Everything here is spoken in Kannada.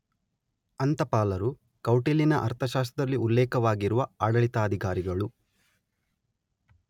ಅಂತಪಾಲರು - ಕೌಟಿಲ್ಯನ ಅರ್ಥಶಾಸ್ತ್ರದಲ್ಲಿ ಉಲ್ಲೇಖಿತವಾಗಿರುವ ಆಡಳಿತಾಧಿಕಾರಿಗಳು.